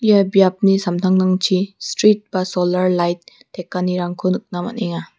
ia biapni samtangtangchi strit ba solar lait tekanirangko nikna man·enga.